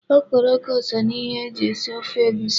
Okporoko so n'ihe e ji esi ofe egusi.